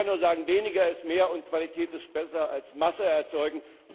Ich kann nur sagen Weniger ist mehr, und Qualität ist besser als Masse erzeugen.